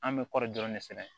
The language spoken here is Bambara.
An bɛ kɔri dɔrɔn de sɛnɛ